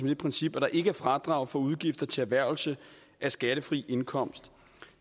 det princip at der ikke er fradrag for udgifter til erhvervelse af skattefri indkomst